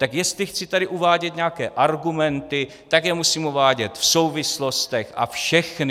Tak jestli chci tady uvádět nějaké argumenty, tak je musím uvádět v souvislostech a všechny.